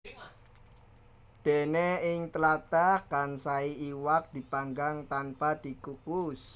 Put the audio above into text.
Dene ing tlatah Kansai iwak dipanggang tanpa dikukus